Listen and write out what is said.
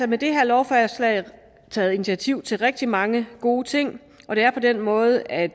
med det her lovforslag taget initiativer til rigtig mange gode ting og det er på den måde at